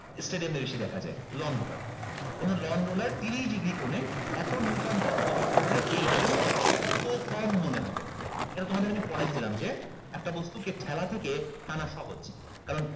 stadium এ বেশি দেখা যায় lawn roller কোনো lawn roller তিরিশ degree কোণে এতো neuton বল প্রযুক্ত হলে এর ওজন কত কম মনে হবে এটা তোমাদের আমি পড়াইছিলাম যে একটা বস্তুকে ঠেলা থেকে টানা সহজ কারণ